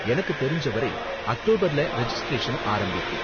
எனக்கு தெரிஞ்ச வரை அக்டோபர்ல ரெஜிஸ்ட்ரேஷன் ஆரம்பிக்கும்.